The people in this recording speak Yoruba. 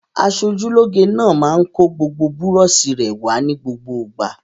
Aṣojúlóge náà máa ń kó gbogbo àwọn búrọ́ṣì rẹ̀ wá ní gbogbo ìgbà.